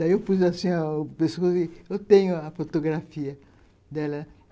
Daí eu fiz assim, eu tenho a fotografia dela.